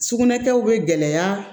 Sugunɛ kɛw bɛ gɛlɛya